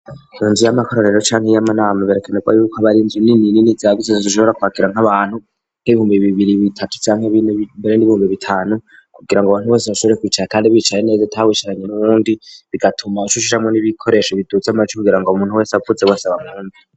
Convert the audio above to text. Mu nzu y'amakoraniro canke y'amanama birakenerwa yuko aba ari inzu nini nini zagutse zishobora kwakira nk'abantu nk'ibihumbi bibiri, bitatu, canke bine, mbere n'ibihumbi bitanu, kugira ngo abantu bose bashobore kwicara kandi bicaye neza atawicaranye n'uwundi, bigatuma uca ushiramwo n'ibikoresho biduza amajwi kugira ngo umuntu wese avuze bose bamwumve.